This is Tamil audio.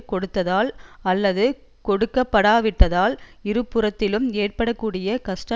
கொடுத்தால் அல்லது கொடுக்கப்படாவிட்டால் இருபுறத்திலும் ஏற்பட கூடிய கஷ்ட